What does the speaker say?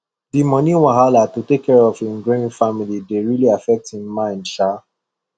the money wahala to take care of him growing family dey really affect him mind um